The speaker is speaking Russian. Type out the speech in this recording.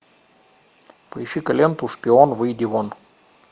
поищи ка ленту шпион выйди вон